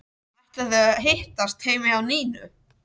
Ætla þau að hittast heima hjá Nínu?